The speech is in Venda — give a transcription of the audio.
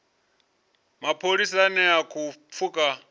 mapholisa ane a khou pfuka